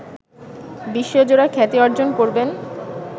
বিশ্বজোড়া খ্যাতি অর্জন করবেন